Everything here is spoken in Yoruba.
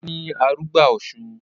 Ọlá ni arugbá Ọ̀sun